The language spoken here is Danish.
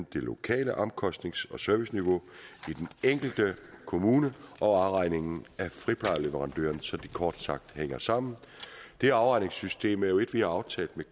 det lokale omkostnings og serviceniveau i den enkelte kommune og afregningen af friplejeleverandøren så de ting kort sagt hænger sammen det afregningssystem er jo et vi har aftalt med